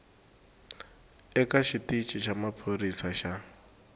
eka xitici xa maphorisa xa